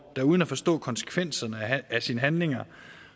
der uden at forstå konsekvenserne af sine handlinger